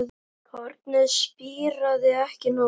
Kornið spíraði ekki nógu vel.